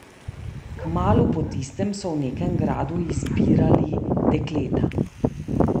Kmalu po tistem so v nekem gradu izbirali dekleta.